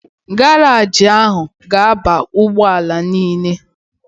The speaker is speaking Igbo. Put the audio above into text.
Garaaji ahụ ọ ga-aba ụgbọala m niile?